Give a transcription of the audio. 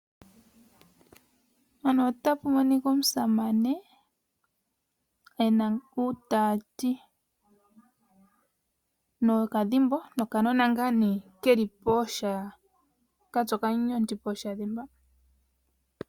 Aasamane oyendji monale okwali yena uutati mboka haya yi nawo momakutu opo yaka konge oomwelelo dhawo momakuti.